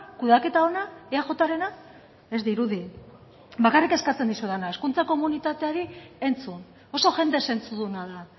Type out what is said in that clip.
kudeaketa ona eajrena ez dirudi bakarrik eskatzen dizudana hezkuntza komunitateari entzun oso jende zentzuduna da